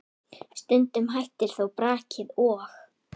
Stundum hættir þó brakið og